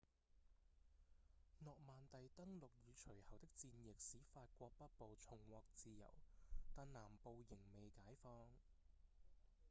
諾曼第登陸與隨後的戰役使法國北部重獲自由但南部仍未解放